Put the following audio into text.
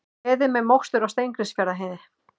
Beðið með mokstur á Steingrímsfjarðarheiði